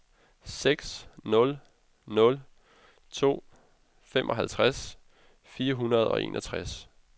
seks nul nul to femoghalvtreds fire hundrede og enogtres